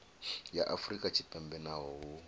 ya afrika tshipembe naho hu